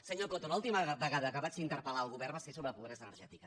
senyor coto l’última vegada que vaig interpelgovern va ser sobre pobresa energètica